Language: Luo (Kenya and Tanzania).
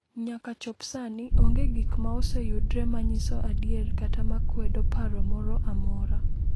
Nyaka chop sani, onge gik ma oseyudre ma nyiso adier kata ma kwedo paro moro amora.